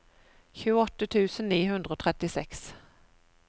tjueåtte tusen ni hundre og trettiseks